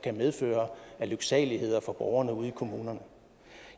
medføre af lyksaligheder for borgerne ude i kommunerne